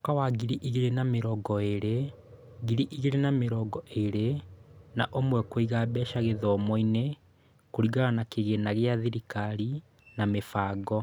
Mwaka wa ngiri igĩrĩ na mĩrongo ĩĩrĩ/ngiri igĩrĩ na mĩrongo ĩĩrĩ na ũmwe Kũiga mbeca gĩthomo-inĩ kũringana na Kĩgĩĩna gĩa Thirikari na Mĩbango.